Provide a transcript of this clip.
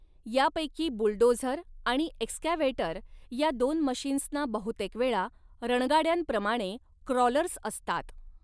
यापैकी बुलडोझर आणि एक्सकॅव्हेटर या दोन मशीन्सना बहुतेकवेळा रणगाड्यांप्रमाणे क्रॉलर्स असतात.